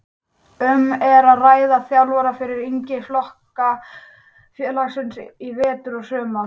Um er að ræða þjálfara fyrir yngri flokka félagsins í vetur og í sumar.